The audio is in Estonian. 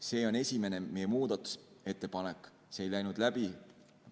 See on esimene meie muudatusettepanek, see ei läinud läbi.